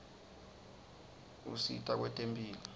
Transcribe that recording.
usita kwetemphilo